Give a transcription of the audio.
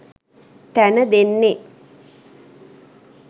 තැන දෙන්නෙ.